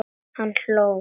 Og hann hló.